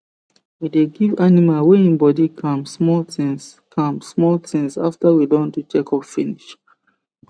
we dey give animal wey hin body calm small things calm small things after we don do check up finish